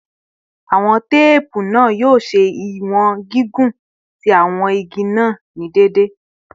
Iwọn teepu naa yoo ṣe iwọn gigun ti igi naa ni deede